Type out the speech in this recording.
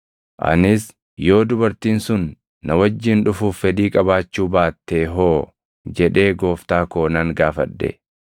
“Anis, ‘Yoo dubartiin sun na wajjin dhufuuf fedhii qabaachuu baattee hoo?’ jedhee gooftaa koo nan gaafadhe.